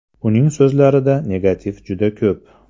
Uning so‘zlarida negativ juda ko‘p.